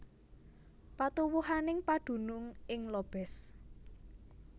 Patuwuhaning padunung ing Lobez